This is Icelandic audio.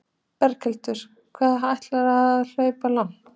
Berghildur: Hvað ætlarðu að hlaupa langt?